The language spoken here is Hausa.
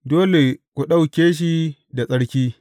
Dole ku ɗauke shi da tsarki.